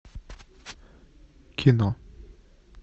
кино